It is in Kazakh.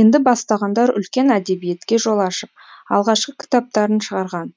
енді бастағандар үлкен әдебиетке жол ашып алғашқы кітаптарын шығарған